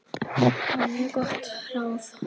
Það var mjög gott ráð.